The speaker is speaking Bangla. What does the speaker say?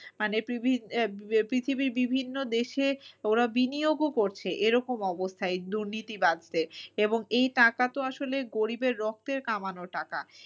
মানে পৃথিবীর বিভিন্ন দেশে ওরা বিনিয়োগ ও করছে এরকম অবস্থায় দুর্নীতিবাদদের। এবং এই টাকা তো আসলে গরিবের রক্তের কামানো টাকা